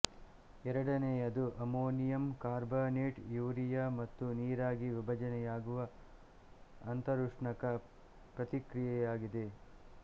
ಎರಡನೆಯದು ammonium carbonate urea ಮತ್ತು ನೀರಾಗಿ ವಿಭಜನೆಯಾಗುವ ಅಂತರುಷ್ಣಕ ಪ್ರತಿಕ್ರಿಯೆಯಾಗಿದೆ